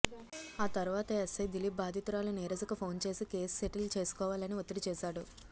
ఆ తరువాత ఎస్ఐ దిలీప్ బాధితు రాలు నీరజకు ఫోన్ చేసి కేసు సెటిల్ చేసుకోవాలని ఒత్తిడి చేశాడు